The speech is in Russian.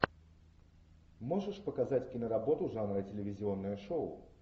можешь показать киноработу жанра телевизионное шоу